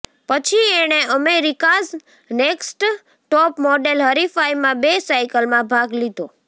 પછી એણે America's next top model હરીફાઈમાં બે સાઈકલમાં ભાગ લીધો